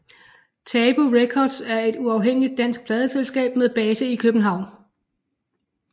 Tabu Records er et uafhængigt dansk pladeselskab med base i København